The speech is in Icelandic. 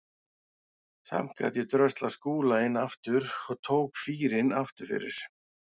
Samt gat ég dröslað Skúla inn aftur og tók fýrinn aftur fyrir.